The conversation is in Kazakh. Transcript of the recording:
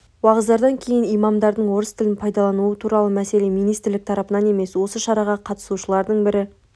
уағыздардан кейін имамдардың орыс тілін пайдалануы туралы мәселе министрлік тарапынан емес осы шараға қатысушылардың бірі